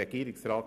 Regierungsrat